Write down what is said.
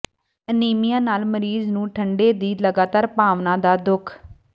anaemia ਨਾਲ ਮਰੀਜ਼ ਨੂੰ ਠੰਡੇ ਦੀ ਲਗਾਤਾਰ ਭਾਵਨਾ ਦਾ ਦੁੱਖ